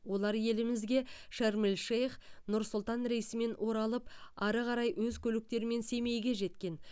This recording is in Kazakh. олар елімізге шарм эль шейх нұр сұлтан рейсімен оралып ары қарай өз көліктерімен семейге жеткен